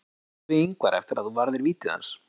Hvað sagðirðu við Ingvar eftir að þú varðir vítið hans?